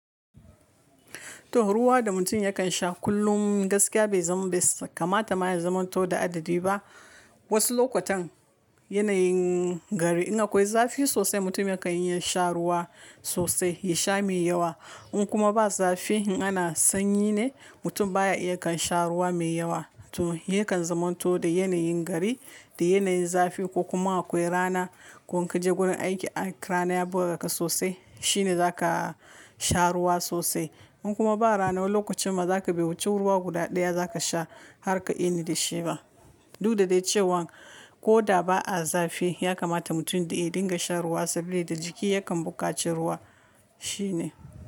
To ruwa da mutum yakan sha kullum gaskiya bai kamata ma yazamanto da adadi ba. Wasu lokutan yanayin gari in akwai zafi sosai mutum yakan iya sha ruwa sosai, ya sha mai yawa. In kuma ba zafi ana sanyi ne mutum baya iya kan sha ruwa mai yawa. To yakan zamanto da yanayin gari, da yanayin zafi ko kuma akwai rana, ko in ka je gurin aiki rana ya buga ka sosai shine za ka sha ruwa sosai. In kuma ba rana lokacin ma za ka biya wuce ruwa guda daya za ka sha har ka ini da shi ba. Duk da dai cewan koda ba a zafi ya kamata mutum da ya dinga sha ruwa saboda jiki yakan buƙaci ruwa shine.